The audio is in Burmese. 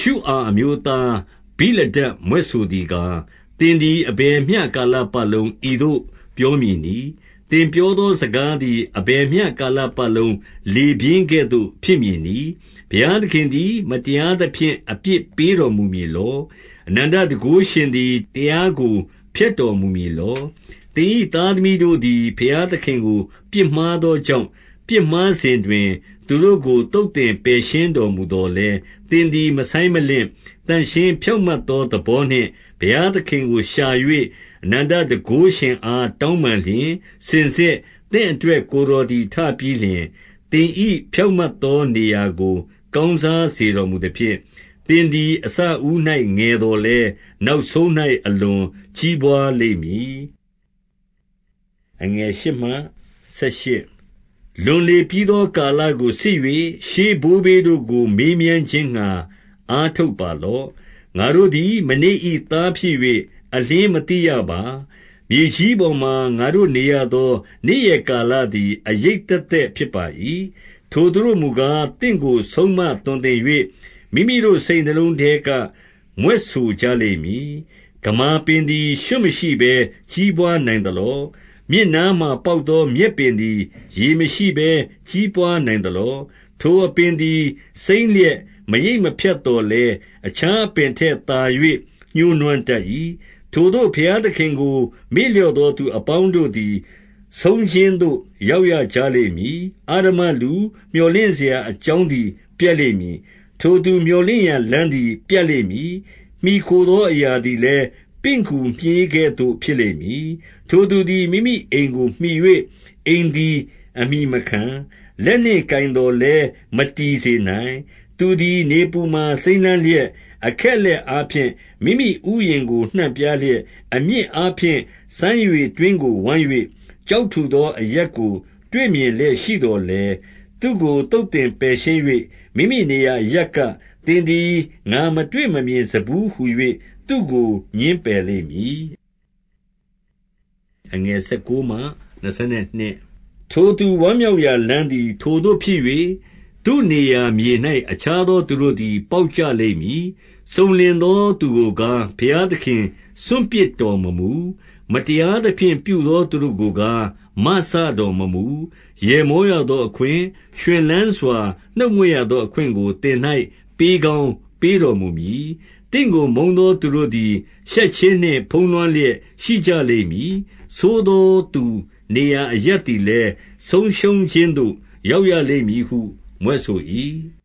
ှုအာအမျိုးသားဗိလဒဒ် မြွက်ဆိုသည်ကား၊ 2 သင်သည် အဘယ်မျှကာလပတ်လုံး ဤသို့ပြောမည်နည်း။ သင်ပြောသောစကားသည် အဘယ်မျှကာလ ပတ်လုံး လေပြင်းကဲ့သို့ ဖြစ်မည်နည်း။ 3 ဘုရားသခင်သည် မတရားသဖြင့် အပြစ်ပေးတော်မူမည်လော။ အနန္တတန်ခိုးရှင်သည် တရားကို ဖျက်တော်မူမည်လော။ 4 သင်၏သားသမီးတို့သည် ဘုရားသခင်ကို ပြစ်မှားသောကြောင့်၊ ပြစ်မှားစဉ်တွင်၊ သူတို့ကိုသုတ်သင် ပယ်ရှင်းတော်မူသော်လည်း၊ 5 သင်သည်မဆိုင်းမလင့်၊ သန့်ရှင်းဖြောင့်မတ်သောသဘောနှင့် ဘုရားသခင်ကိုရှာ၍၊ အနန္တတန်ခိုးရှင် အား တောင်းပန်လျှင်၊ 6 စင်စစ်သင့်အတွက် ကိုယ်တော်သည်ထပြီးလျှင် သင်၏ဖြောင့်မတ်သောနေရာကို ကောင်းစားစေတော်မူ သဖြင့်၊ 7 သင်သည်အစဦး၌ ငယ်သော်လည်း၊ နောက်ဆုံး၌ အလွန်ကြီးပွါးလိမ့်မည်။ 8 လွန်လေပြီးသောကာလကိုစစ်၍၊ ရှေးဘိုးဘေးတို့ကို မေးမြန်းခြင်းငှါ အားထုတ်ပါတော့။ 9 ငါတို့သည် မနေ့၏သားဖြစ်၍ အလျှင်းမသိရပါ။ မြေကြီးပေါ်မှာ ငါတို့နေရသော နေ့ရက်ကာလသည် အရိပ်သက်သက်ဖြစ်၏။ 10 ထိုသူတို့မူကား၊ သင့်ကိုဆုံးမသွန်သင်၍ မိမိတို့ စိတ်နှလုံးထဲက မြွက်ဆိုကြလိမ့်မည်။ 11 ဂမာပင်သည် ရွံ့မရှိဘဲကြီးပွားနိုင်သလော။ မြစ်နားမှာ ပေါက်သောမြက်ပင်သည် ရေမရှိဘဲ ကြီးပွား နိုင်သလော။ 12 ထိုအပင်သည် စိမ်းလျက်မရိတ်မဖြတ်သော်လည်း၊ အခြားအပင် ထက်သာ၍ ညှိုးနွမ်းတတ်၏။ 13 ထိုသို့ဘုရားသခင်ကို မေ့လျော့သော သူ အပေါင်းတို့သည် ဆုံးခြင်းသို့ရောက်ရကြလိမ့်မည်။ အဓမ္မလူ မြော်လင့်စရာအကြောင်းသည် ပျက်လိမ့်မည်။ 14 ထိုသူမြော်လင့်စရာလမ်းသည် ပြတ်လိမ့်မည်။ မှီခိုသောအရာသည်လည်း ပင့်ကူမြှေးကဲ့သို့ ဖြစ်လိမ့်မည်။ 15 ထိုသူသည် မိမိအိမ်ကိုမှီ၍ အိမ်သည်အမှီမခံ။ လက်နှင့်ကိုင်သော်လည်း မတည်စေနိုင်။ 16 သူသည် နေပူမှာစိမ်းလန်းလျက်၊အခက်အလက် အားဖြင့် မိမိဥယျာဉ်ကို နှံ့ပြားလျက်၊ 17 အမြစ်အားဖြင့် စမ်းရေတွင်းကိုဝိုင်း၍ ကျောက် ထူသောအရပ်ကို တွေ့မြင်လျက်ရှိသော်လည်း၊ 18 သူ့ကိုသုတ်သင်ပယ်ရှင်း၍၊ မိမိနေရာအရပ်က သင်သည်ငါမတွေ့မမြင်စဖူးဟူ၍ သူ့ကိုငြင်းပယ်လိမ့်မည်။ 19 ထိုသူဝမ်းမြောက်ရာလမ်းသည် ထိုသို့ဖြစ်၍၊ သူနေရာမြေ၌ အခြားသူတို့သည် ပေါက်ကြလိမ့်မည်။ 20 စုံလင်သောသူကိုကား၊ ဘုရားသခင် စွန့်ပစ်တော်မမူ။ မတရားသဖြင့်ပြုသော သူတို့ကိုကား မစတော် မမူ။ 21 ရယ်မောရသောအခွင့်၊ ရွှင်လန်းစွာ နှုတ်မြွက် ရသောအခွင့်ကို သင်၌ပေးကောင်းပေးတော်မူမည်။ 22 သင့်ကိုမုန်းသော သူတို့သည် ရှက်ခြင်းနှင့် ဖုံးလွှမ်းလျက်ရှိရကြလိမ့်မည်။ ဆိုးသောသူနေရာအရပ် သည်လည်း ဆုံးရှုံးခြင်းသို့ ရောက်ရလိမ့်မည်ဟု မြွက်ဆို ၏